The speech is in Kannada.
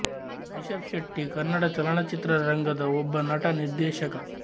ರಿಶಬ್ ಶೆಟ್ಟಿ ಕನ್ನಡ ಚಲನಚಿತ್ರ ರಂಗದ ಒಬ್ಬ ನಟ ನಿರ್ದೆಶಕ